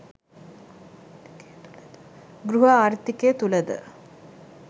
ගෘහ ආර්ථිකය තුළද